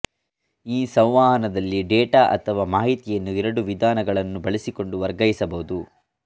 ಈ ಸಂವಹನದಲ್ಲಿ ಡೇಟಾ ಅಥವಾ ಮಾಹಿತಿಯನ್ನು ಎರಡು ವಿಧಾನಗಳನ್ನು ಬಳಸಿಕೊಂಡು ವರ್ಗಾಯಿಸಬಹುದು